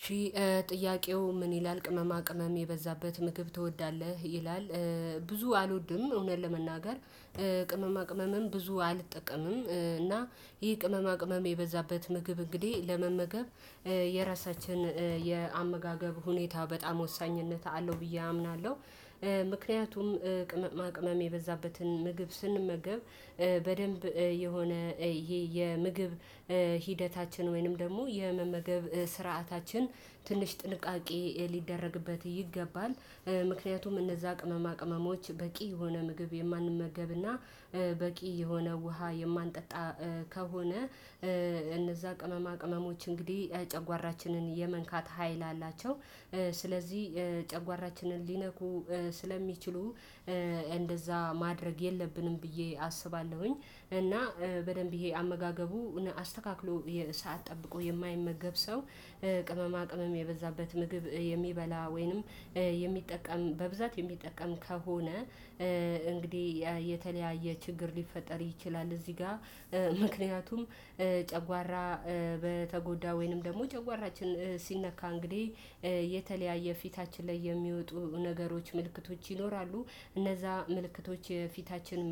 እሽ። ጥያቄው ምን ይላል? ቅመማ ቅመም የበዛበት ምግብ ትወዳለህ ይላል። ብዙ አልወድም እውነት ለመናገር። ቅመማ ቅመምም ብዙ አልጠቀምም እና ይሄ ቅመማ ቅመም የበዛበት ምግብ እንግዲህ ለመመገብ የራሳችን የአመጋገብ ሁኔታ በጣም ወሳኝነት አለው ብዬ አምናለሁ። ምክንያቱም ቅመማ ቅመም የበዛበትን ምግብ ስንመገብ በደንብ የሆነ ይሄ የምግብ ሂደታችን ወይንም ደግሞ የመመገብ ስርዓታችን ትንሽ ጥንቃቄ ሊደረግበት ይገባል። ምክንያቱም እነዛ ቅመማ ቅመሞች በቂ የሆነ ምግብ የማንመገብና በቂ የሆነ ውሃ የማንጠጣ ከሆነ እነዛ ቅመማ ቅመሞች እንግዲህ ጨጓራችንን የመንካት ሀይል አላቸው። ስለዚህ ጨጓራችንን ሊነኩ ስለሚችሉ እንደዛ ማድረግ የለብንም ብዬ አስባለሁኝ። እና በደንብ ይሄ አመጋገቡን አስተካክሎ የሰዓት ጠብቆ የማይመገብ ሰው ቅመማ ቅመም የበዛበት ምግብ የሚበላ ወይንም የሚጠቀም በብዛት የሚጠቀም ከሆነ እንግዲህ የተለያየ ችግር ሊፈጠር ይችላል። እዚህ ጋር ምክንያቱም ጨጓራ በተጎዳ ወይንም ደግሞ ጨጓራችን ሲነካ እንግዲህ የተለያየ ፊታችን ላይ የሚወጡ ነገሮች ምልክቶች ይኖራሉ። እነዛ ምልክቶች የፊታችን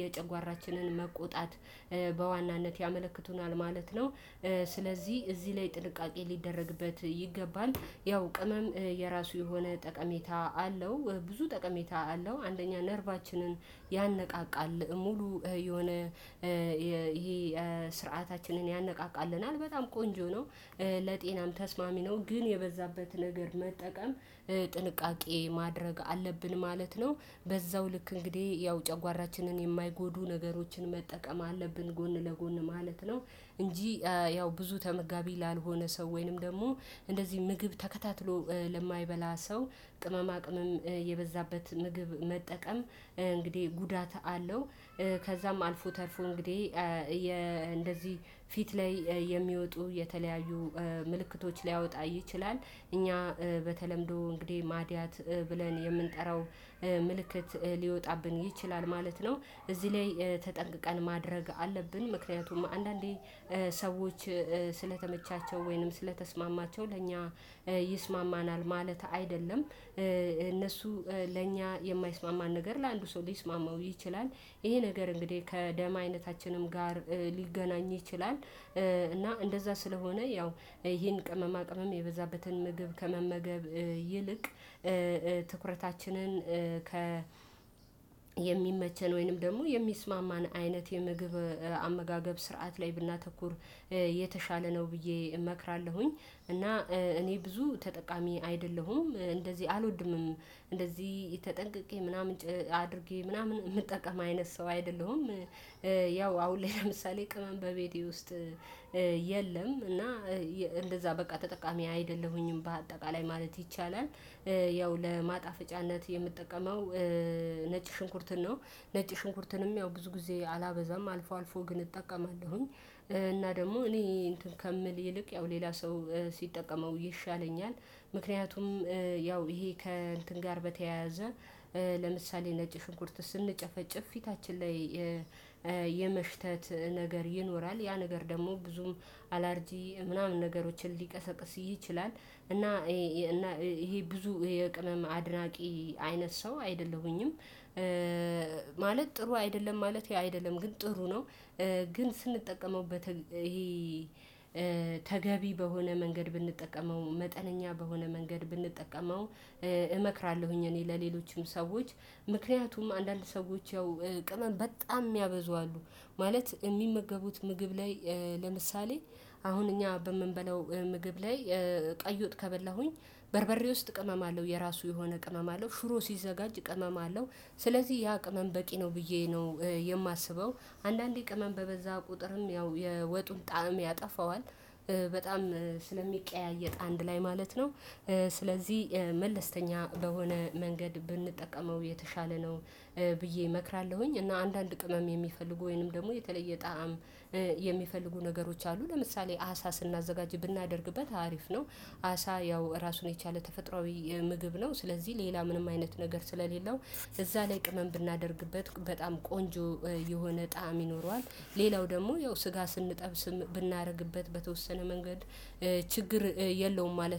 የጨጓራችንን መቆጣት በዋናነት ያመለክቱናል ማለት ነው። ስለዚህ እዚህ ላይ ጥንቃቄ ሊደረግበት ይገባል። ያው ቅመም የራሱ የሆነ ጠቀሜታ አለው ብዙ ጠቀሜታ አለው አንደኛ ነርቫችንን ያነቃቃል ሙሉ የሆነ ይሄ ስርዓታችንን ያነቃቃልናል በጣም ቆንጆ ነው። ለጤናም ተስማሚ ነው። ግን የበዛበት ነገር መጠቀም ጥንቃቄ ማድረግ አለብን ማለት ነው። በዛው ልክ እንግዲህ ያው ጨጓራችንን የማይጎዱ ነገሮችን መጠቀም አለብን ጎን ለጎን ማለት ነው። እንጂ ያው ብዙ ተመጋቢ ላልሆነ ሰው ወይንም ደግሞ እንደዚህ ምግብ ተከታትሎ ለማይበላ ሰው ቅመማ ቅመም የበዛበት ምግብ መጠቀም እንግዲህ ጉዳት አለው። ከዛም አልፎ ተርፎ እንግዲህ የ እንደዚህ ፊት ላይ የሚወጡ የተለያዩ ምልክቶች ሊያወጣ ይችላል። እኛ በተለምዶ እንግዲህ ማድያት ብለን የምንጠራው ምልክት ሊወጣብን ይችላል ማለት ነው። እዚህ ላይ ተጠንቅቀን ማድረግ አለብን። ምክንያቱም አንዳንዴ ሰዎች ስለተመቻቸው ወይንም ስለተስማማቸው ለእኛ ይስማማናል ማለት አይደለም እነሱ ለእኛ የማይስማማን ነገር ለአንዱ ሰው ሊስማማው ይችላል። ይሄ ነገር እንግዲህ ከደም አይነታችንም ጋር ሊገናኝ ይችላል። እና እንደዛ ስለሆነ ያው ይሄን ቅመማ ቅመም የበዛበትን ምግብ ከመመገብ ይልቅ ትኩረታችንን ከ የሚመቸን ወይንም ደግሞ የሚስማማን አይነት የምግብ አመጋገብ ስርዓት ላይ ብናተኩር የተሻለ ነው ብዬ እመክራለሁኝ። እና እኔ ብዙ ተጠቃሚ አይደለሁም እንደዚህ አልወድምም እንደዚህ ተጠንቅቄ ምናምን አድርጌ ምናምን የምጠቀም አይነት ሰው አይደለሁም። ያው አሁን ላይ ለምሳሌ ቅመም በቤቴ ውስጥ የለም። እና እንደዛ በቃ ተጠቃሚ አይደለሁኝም በአጠቃላይ ማለት ይቻላል። ያው ለማጣፍጫነት የምጠቀመው ነጭ ሽንኩርትን ነው። ነጭ ሽንኩርትንም ያው ብዙ ጊዜ አላበዛም አልፎ አልፎ ግን እጠቀማለሁኝ። እና ደግሞ እኔ እንትን ከምል ይልቅ ያው ሌላ ሰው ሲጠቀመው ይሻለኛል። ምክንያቱም ያው ይሄ ከእንትን ጋር በተያያዘ ለምሳሌ ነጭ ሽንኩርት ስንጨፈጭፍ ፊታችን ላይ የመሽተት ነገር ይኖራል ያ ነገር ደግሞ ብዙም አላርጂ ምናምን ነገሮችን ሊቀሰቅስ ይችላል። እና ይሄ ብዙ የቅመም አድናቂ አይነት ሰው አይደለሁኝም። ማለት ጥሩ አይደለም ማለቴ አይደለም ግን ጥሩ ነው። ግን ስንጠቀመው በተለይ ይሄ ተገቢ በሆነ መንገድ ብንጠቀመው መጠነኛ በሆነ መንገድ ብንጠቀመው እመክራለሁኝ። እኔ ለሌሎችም ሰዎች ምክንያቱም አንዳንድ ሰዎች ያው ቅመም በጣም እሚያበዙ አሉ። ማለት እሚመገቡት ምግብ ላይ ለምሳሌ አሁን እኛ በምንበላው ምግብ ላይ ቀይውጥ ከበላሁኝ በርበሬ ውስጥ ቅመም አለው የራሱ የሆነ ቅመም አለው ሽሮ ሲዘጋጅ ቅመም አለው። ስለዚህ ያ ቅመም በቂ ነው ብዬ ነው የማስበው አንዳንዴ ቅመም በበዛ ቁጥርም ያው የወጡን ጣዕም ያጠፋዋል። በጣም ስለሚቀያየጥ አንድ ላይ ማለት ነው። ስለዚህ መለስተኛ በሆነ መንገድ ብንጠቀመው የተሻለ ነው። ብዬ እመክራለሁኝ። እና አንዳንድ ቅመም የሚፈልጉ ወይንም ደግሞ የተለየ ጣዕም የሚፈልጉ ነገሮች አሉ ለምሳሌ አሳ ስናዘጋጅ ብናደርግበት አሪፍ ነው። አሳ ያው ራሱን የቻለ ተፈጥሮአዊ ምግብ ነው። ስለዚህ ሌላ ምንም አይነት ነገር ስለሌለው እዛ ላይ ቅመም ብናደርግበት በጣም ቆንጆ የሆነ ጣዕም ይኖረዋል። ሌላው ደግሞ ያው ስጋ ስንጠብስም ብናደርግበት በተወሰነ መንገድ ችግር የለውም ማለት ነው